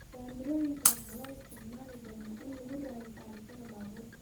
Kaamirooyinka waxaa loo isticmaali doonaa in lagu raadiyo taarikada baabuurta.